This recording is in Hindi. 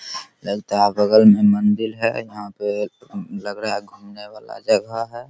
लगता है बगल में मंदिर है यहां पे लग रहा है घुमने वाला जगह है।